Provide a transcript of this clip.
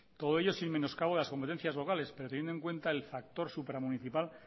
todo ello sin menoscabo de las competencia locales pero teniendo en cuenta el factor supramunicipal